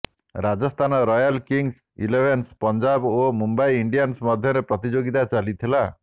Rajasthan Royals Kings Eleven Punjab ଓ Mumbai Indians ମଧ୍ୟରେ ପ୍ରତିଯୋଗିତା ଚାଲିଥିଲା